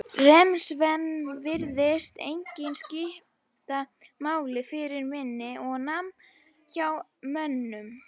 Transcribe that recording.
REM-svefn virðist einnig skipta máli fyrir minni og nám hjá mönnum.